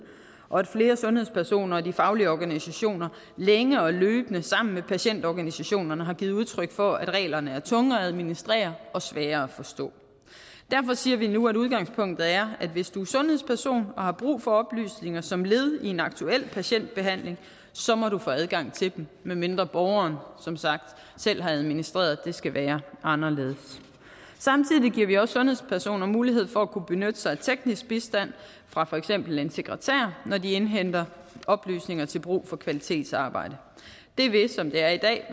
og at flere sundhedspersoner og de faglige organisationer længe og løbende sammen med patientorganisationerne har givet udtryk for at reglerne er tunge at administrere og svære at forstå derfor siger vi nu at udgangspunktet er at hvis du er sundhedsperson og har brug for oplysninger som led i en aktuel patientbehandling må du få adgang til dem medmindre borgeren som sagt selv har administreret at det skal være anderledes samtidig giver vi også sundhedspersoner mulighed for at kunne benytte sig af teknisk bistand fra for eksempel en sekretær når de indhenter oplysninger til brug for kvalitetsarbejde det vil som det er i dag